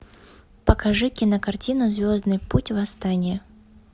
покажи кинокартину звездный путь восстание